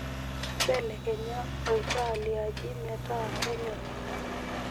ibelekenya oltaa liaji metaa kenyori